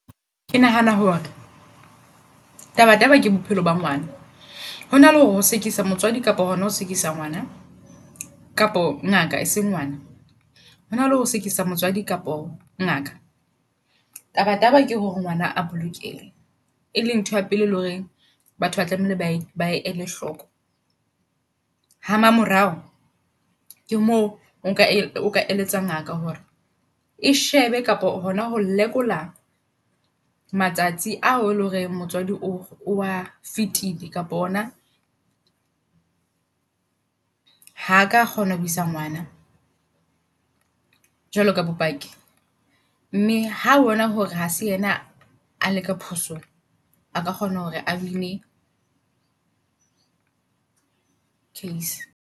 Ke nahana hore taba taba ke bophelo ba ngwana. Hona le hore ho sekisa motswadi kapo hona ho sekisa ngwana kapo ngaka eseng ngwana. Hona le ho sekisa motswadi kapo ngaka taba taba ke hore ngwana a bolokehe ele ntho ya pele le hore batho ba tlamehile ba ba ele hloko. Ha mamorao ke moo o ka o eletsa ngaka hore e shebe kapa hona ho lekola matsatsi ao eloreng motswadi o oa fitile. Kapo ona ha ka kgona ho isa ngwana jwalo ka bopaki mme ha bona hore ha se ena a le ka phoso g a ka kgona hore a win-ne case.